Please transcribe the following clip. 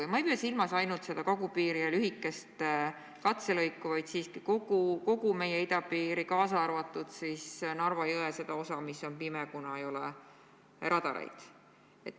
Ja ma ei pea silmas ainult kagupiiri ja seda lühikest katselõiku, vaid kogu meie idapiiri, kaasa arvatud Narva jõe seda osa, mis on "pime", kuna ei ole radareid.